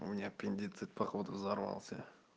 у меня аппендицит походу взорвался